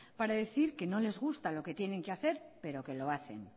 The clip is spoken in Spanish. para decir que no les gusta lo que tienen que hacer pero que lo hacen